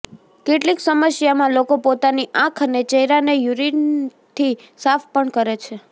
કેટલીક સમસ્યામાં લોકો પોતાની આંખ અને ચહેરાને યૂરિનથી સાફ પણ કરે છે